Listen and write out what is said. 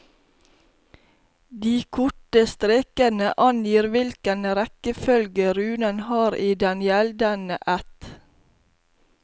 De korte strekene angir hvilken rekkefølge runen har i den gjeldene ætt.